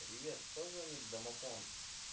привет кто звонит в домофон